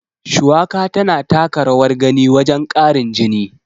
Shuwaka tana taka rawar gani wajen ƙarin jini.